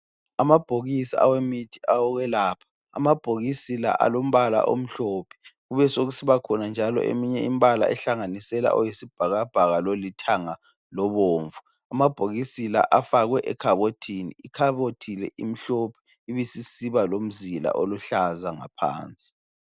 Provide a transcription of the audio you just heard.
Amabhokisi awemithi okwelapha. Amabhokisi la alombala omhlophe. Kubesekusibakhona njalo eminye imbala ehlanganisela owesibhakabhaka lolithanga lobomvu. Amabhokisi la afakwe ekhabothini, ikhabothi le imhlophe ibe isisiba lomzila oluhlaza ngaphansi.